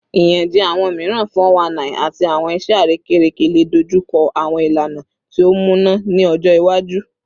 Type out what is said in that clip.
Iyanjẹ awọn miiran (419) ati awọn iṣẹ arekereke le dojuko awọn ilana ti o muna ni ọjọ iwaju